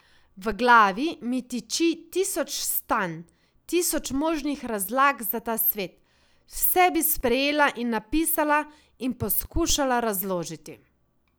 V glavi mi tiči tisoč stanj, tisoč možnih razlag za ta svet, vse bi sprejela in napisala in poskušala razložiti.